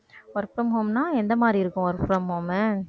work from home னா எந்த மாதிரி இருக்கும் work from home உ